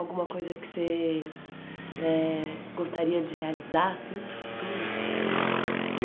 Alguma coisa que você eh gostaria de realizar assim para o futuro?